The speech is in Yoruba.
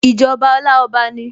Ìjọba Ọláọba ni